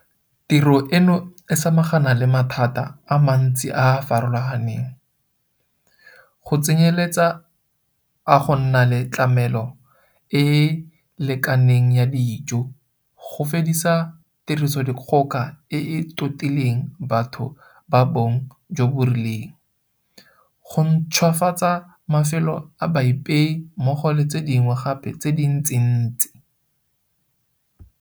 Tiro eno e samagana le mathata a mantsi a a farologaneng, go tsenyeletsa a go nna le tlamelo e e lekaneng ya dijo, go fedisa Tirisodikgoka e e Totileng Batho ba Bong jo bo Rileng GBV, go ntšhwafatsa mafelo a baipei mmogo le tse dingwe gape tse dintsintsi.